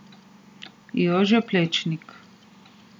Jože Plečnik.